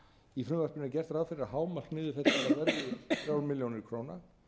í frumvarpinu er gert ráð fyrir að hámark niðurfellingar verði þrjár milljónir króna